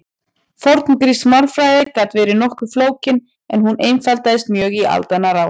forngrísk málfræði gat verið nokkuð flókin en hún einfaldaðist mjög í aldanna rás